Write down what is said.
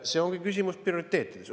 See ongi küsimus prioriteetidest.